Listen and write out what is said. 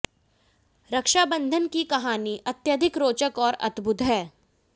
रक्षा बंधन की कहानी अत्यधिक रोचक और अद्भुत है